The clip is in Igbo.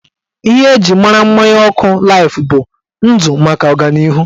Ihe eji mara mmanya ọkụ laif bụ "Ndụ maka ọganihu"